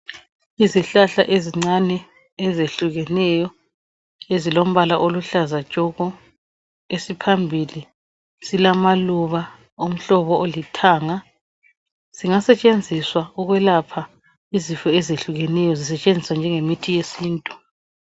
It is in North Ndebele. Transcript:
Izihlahla ezincane ezehlukeneyo ezilombala oluhlaza tshoko esiphambili silamaluba omhlobo olithanga singasetshenziswa ukwelapha izifo ezehlukeneyo zisetshenziswa njengolemithi yesiNtu.